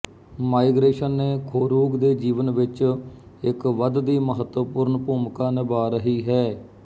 migration ਨੇ Khorugh ਦੇ ਜੀਵਨ ਵਿੱਚ ਇੱਕ ਵਧਦੀ ਮਹੱਤਵਪੂਰਨ ਭੂਮਿਕਾ ਨਿਭਾ ਰਹੀ ਹੈ